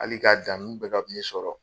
Hali k ka dan nunnu bɛɛ ka sɔrɔ.